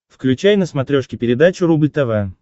включай на смотрешке передачу рубль тв